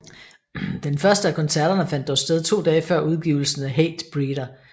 Den første af koncerterne fandt dog sted to dage før udgivelsen af Hatebreeder